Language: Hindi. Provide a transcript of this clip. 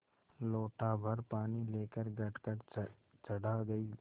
लोटाभर पानी लेकर गटगट चढ़ा गई